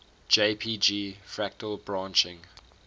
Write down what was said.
jpg fractal branching